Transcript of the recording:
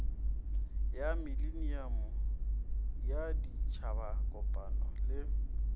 ya mileniamo ya ditšhabakopano le